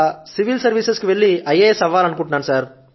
ఆ తరువాత civil services కు వెళ్లి ఐఎఎస్ అవ్వాలి